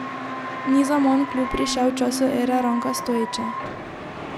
Ni zaman v klub prišel v času ere Ranka Stojića.